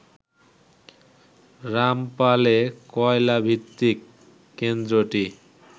রামপালে কয়লা ভিত্তিক কেন্দ্রটি